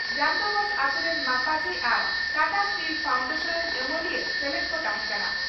ᱰᱟᱱᱰᱵᱳᱥ ᱟᱹᱛᱩ ᱨᱮᱱ ᱢᱟᱯᱟᱡᱤ ᱟᱨ ᱴᱟᱴᱟ ᱥᱴᱤᱞ ᱯᱷᱟᱱᱰᱮᱥᱚᱱ ᱨᱮᱱ ᱟᱹᱢᱟᱹᱞᱤᱭᱟᱹ ᱥᱮᱞᱮᱫ ᱠᱚ ᱛᱟᱦᱮᱸ ᱠᱟᱱᱟ ᱾